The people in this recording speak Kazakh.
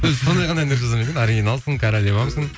эй сондай ғана әндер жазады ма екен оригиналсың королевамсың